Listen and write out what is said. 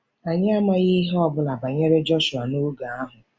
Anyị amaghị ihe ọ bụla banyere Jọshụa noge ahụ.